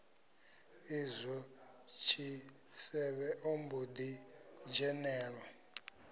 izwo tshisevhe ombo ḓi dzhenelwa